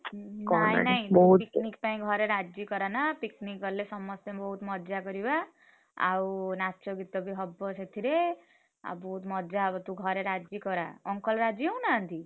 ହୁଁ ହୁଁ ନାଇଁ ନାଇଁ picnic ପାଇଁ ଘରେ ରାଜି କରାନା picnic ଗଲେ ସମସ୍ତେ ବହୁତ୍ ମଜା କରିବା। ଆଉ ନାଚ ଗୀତ ବି ହବ ସେଥିରେ, ଆଉ ବହୁତ୍ ମଜା ହବ ତୁ ଘରେ ରାଜି କରା uncle ରାଜି ହେଉ ନାହାଁନ୍ତି?